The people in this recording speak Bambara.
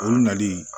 O nali